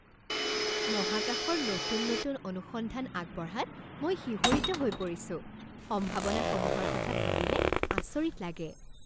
মহাকাশৰ নতুন নতুন অনুসন্ধান আগবঢ়াত মই শিহৰিত হৈ পৰিছো! সম্ভাৱনাসমূহৰ কথা ভাবিলে আচৰিত লাগে।